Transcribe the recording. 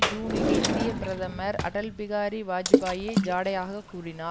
ஜூனில் இந்திய பிரதமர் அடல் பிகாரி வாஜ்பாயி ஜாடையாகக் கூறினார்